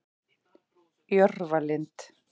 Jörfalind